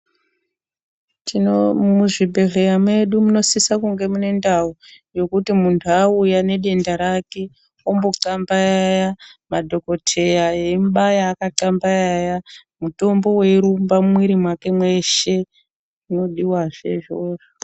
Muzvibhedhlera medu munosisa kunge munendawo, yekuti muntu awuya nedenda rake ombocambayaya, madhokotheya emubaya akacambayaya, mutombo weyirumba mwiri make mweshe, unodiwa zvezvo.